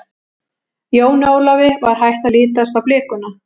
Jóni Ólafi var hætt að lítast á blikuna.